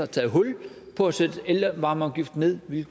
taget hul på at sætte elvarmeafgiften ned vi